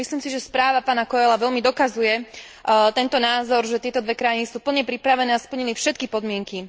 Myslím si, že správa pána Coelha veľmi dokazuje tento názor, že tieto dve krajiny sú plne pripravené a splnili všetky podmienky.